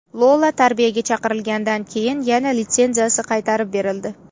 Lola tarbiyaga chaqirilgandan keyin yana litsenziyasi qaytarib berildi.